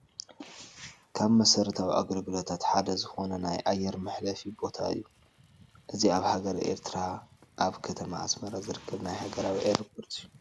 ካብ መሰረታዊ ኣገልግሎታት ሓደ ዝኾነ ናይ ኣየር መሕረፊ ቦታ እዩ፡፡ እዚ ኣብ ሃገረ ኤርትራ ኣብ ከተማ ኣስመራ ዝርከብ ናይ ሃገራዊ ኣየርፖርት እዩ፡፡